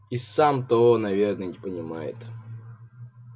и сам того наверное не понимает